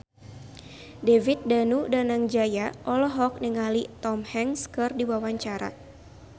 David Danu Danangjaya olohok ningali Tom Hanks keur diwawancara